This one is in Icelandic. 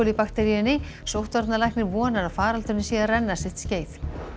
bakteríunni sóttvarnalæknir vonar að faraldurinn sé að renna sitt skeið